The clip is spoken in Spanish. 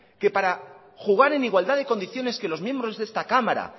que para jugar en igualdad de condiciones que los miembros de esta cámara